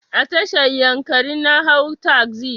A tashar yankari na hau tasi.